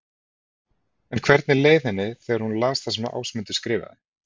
En hvernig leið henni þegar hún las það sem Ásmundur skrifaði?